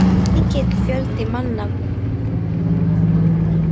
Mikill fjöldi manna var við útför hennar.